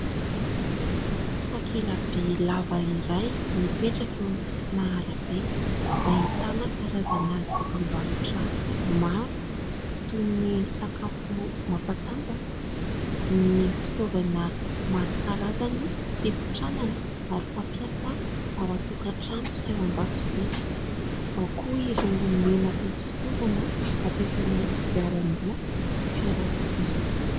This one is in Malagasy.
Takela-by lava iray mipetraka eo amin'ny sisina arabe, ahitana karazana dokam-barotra maro toy : ny sakafo mampatanjaka, ny fitaovana maro karazany fikotranana, ary fampiasa ao an-tokantrano sy ao an-dakozia, ao koa ireo menaka sy fitaovana hampiasaina amin'ny kodiaran-droa sy fiarakodia.